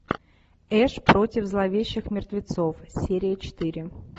эш против зловещих мертвецов серия четыре